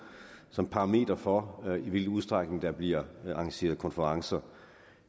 som parameter for i hvilken udstrækning der bliver arrangeret konferencer